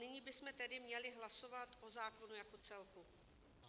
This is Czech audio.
Nyní bychom tedy měli hlasovat o zákonu jako celku.